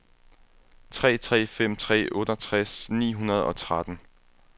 tre tre fem tre otteogtres ni hundrede og tretten